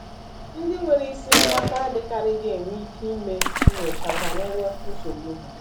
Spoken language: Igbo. Ndị nwere isi mgbaka adịkarịghị enwe ike ime nnyocha banyere nsogbu ha.